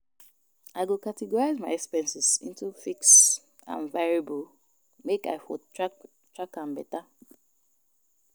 I go categorize my expenses into fixed and variable make I for track am beta.